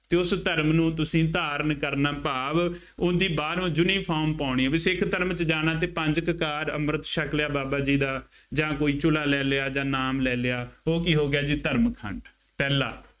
ਜੋ ਉਸ ਧਰਮ ਨੂੰ ਤੁਸੀਂ ਧਾਰਨ ਕਰਨਾ ਭਾਵ ਉਹਦੀ ਬਾਹਰੋਂ uniform ਪਾਉਣੀ ਆ, ਜੇ ਸਿੱਖ ਧਰਮ ਚ ਜਾਣਾ ਤੇ ਪੰਜ ਕਕਾਰ, ਅੰਮ੍ਰਿਤ ਛੱਕ ਲਿਆ, ਬਾਬਾ ਜੀ ਦਾ ਜਾਂ ਕੋਈ ਚੋਹਲਾ ਲੈ ਲਿਆ, ਜਾਂ ਨਾਮ ਲੈ ਲਿਆ, ਉਹ ਕੀ ਹੋ ਗਿਆ ਜੀ ਧਰਮ ਖੰਡ, ਪਹਿਲਾਂ